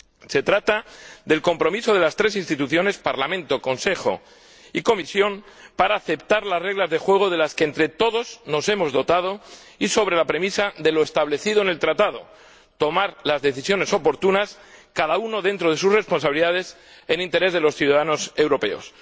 Se trata del compromiso de las tres instituciones —Parlamento, Consejo y Comisión— de aceptar las reglas de juego de las que nos hemos dotado entre todos sobre la premisa de lo establecido en el Tratado tomar las decisiones oportunas, cada uno dentro de sus responsabilidades, en interés de los ciudadanos europeos.